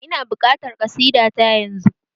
Ina buƙatar ƙasida ta yanzu!